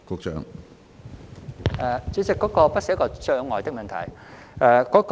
主席，那不是一個障礙的問題。